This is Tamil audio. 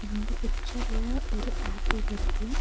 இந்த பிச்சர்ல ஒரு ஏர்போர்ட் இருக்கு.